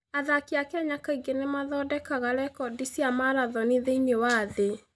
Athaki a Kenya kaingĩ nĩ mathondekaga rekondi cia marathoni thĩinĩ wa thĩ.